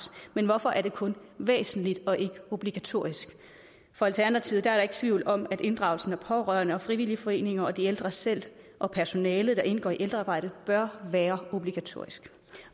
men hvorfor er det kun væsentligt og ikke obligatorisk for alternativet er der ikke tvivl om at inddragelsen af pårørende og frivillige foreninger og de ældre selv og personalet der indgår i ældrearbejdet bør være obligatorisk